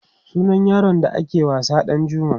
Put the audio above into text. sunan yaron da ke wasa Ɗanjuma